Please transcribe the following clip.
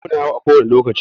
Sauro na yawo a kowani lokaci.